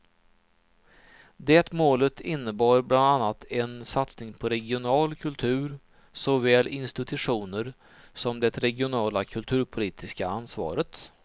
Det målet innebar bland annat en satsning på regional kultur, såväl institutioner som det regionala kulturpolitiska ansvaret.